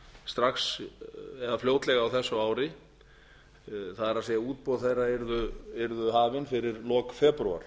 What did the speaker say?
strax eða fljótlega á þessu ári það er útboð þeirra yrðu hafin fyrir lok febrúar